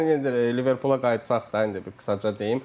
Yəni Liverpula qayıtsaq da indi qısaca deyim.